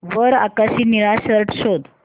वर आकाशी निळा शर्ट शोध